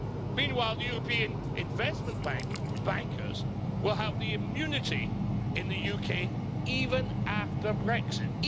Meanwhile, the European Investment Bank bankers will have immunity in the UK, even after Brexit.